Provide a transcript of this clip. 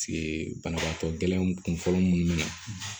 banabagatɔ gɛlɛnw kun fɔlɔ munnu na